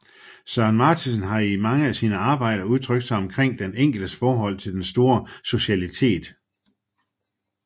Søren Martinsen har i mange af sine arbejder udtrykt sig omkring den enkeltes forhold til den store socialitet